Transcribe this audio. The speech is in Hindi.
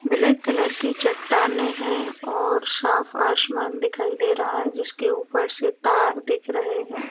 ब्लैक कलर की चट्टाने है और साफ आसमान दिखाई दे रहा है जिसके ऊपर से तार दिख रहे हैं।